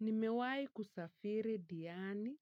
Nimewai kusafiri diani,